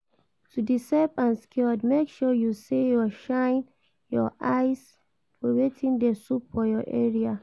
To de safe and secured make sure say you shine your eyes for wetin de sup for your area